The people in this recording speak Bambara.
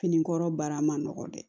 Fini kɔrɔ baara ma nɔgɔ dɛ